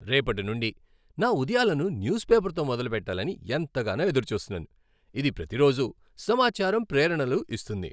రేపటి నుండి నా ఉదయాలను న్యూస్ పేపర్తో మొదలుపెట్టాలని ఎంతగానో ఎదురుచూస్తున్నాను. ఇది ప్రతిరోజూ సమాచారం, ప్రేరణలు ఇస్తుంది.